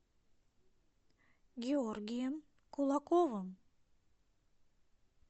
георгием кулаковым